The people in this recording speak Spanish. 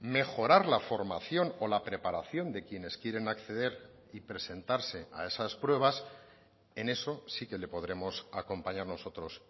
mejorar la formación o la preparación de quienes quieren acceder y presentarse a esas pruebas en eso sí que le podremos acompañar nosotros